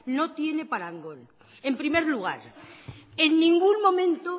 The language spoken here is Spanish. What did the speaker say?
no tiene parangón en primer lugar en ningún momento